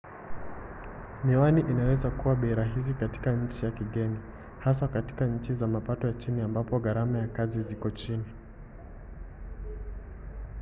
miwani inaweza kuwa bei rahisi katika nchi ya kigeni haswa katika nchi za mapato ya chini ambapo gharama za kazi ziko chini